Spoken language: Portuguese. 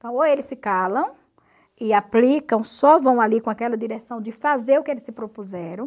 ou eles se calam e aplicam, só vão ali com aquela direção de fazer o que eles se propuseram.